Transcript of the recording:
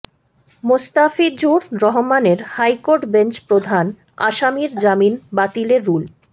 মোস্তাফিজুর রহমানের high court bench প্রধান আসামির জামিন বাতিলে রুল